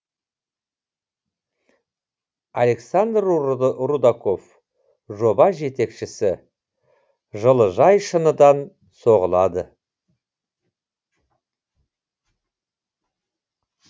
александр рудаков жоба жетекшісі жылыжай шыныдан соғылады